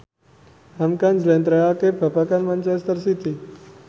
hamka njlentrehake babagan manchester city